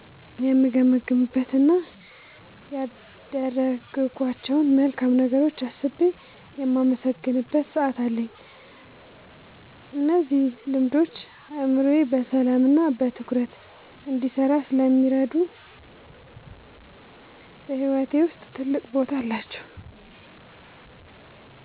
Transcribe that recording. የምገመግምበት እና ያደረግኳቸውን መልካም ነገሮች አስቤ የማመሰግንበት ሰዓት አለኝ። እነዚህ ልምዶች አእምሮዬ በሰላምና በትኩረት እንዲሰራ ስለሚያደርጉ በሕይወቴ ውስጥ ትልቅ ቦታ አላቸው።"